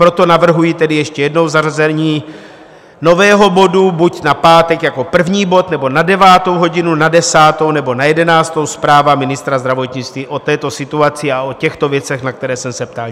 Proto navrhuji tedy ještě jednou zařazení nového bodu buď na pátek jako první bod, nebo na devátou hodinu, na desátou, nebo na jedenáctou - zpráva ministra zdravotnictví o této situaci a o těchto věcech, na které jsem se ptal.